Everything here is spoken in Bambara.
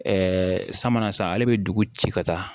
sa mana san ale bɛ dugu ci ka taa